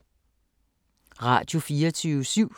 Radio24syv